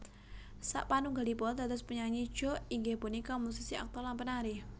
Sapanunggalipun dados penyanyi Joe inggih punika musisi aktor lan penari